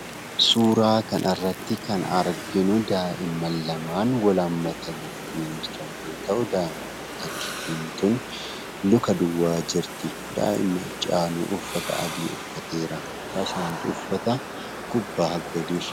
Suuraa kanarratti kan arginu daa'ima laman wal-hammatani jiran yoo ta'u daa'imni tokkittin kun luka duwwaa jirti. daa'imni achii aanuu uffata adii uffateera.